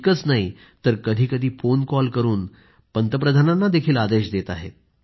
इतकंच नाही तर कधीकधी तर फोन कॉल करून पंतप्रधानांनाही आदेश देत आहेत